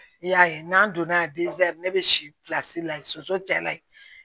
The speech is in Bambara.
I y'a ye n'an donna ne bɛ si pilasi la yen soso cɛ la ye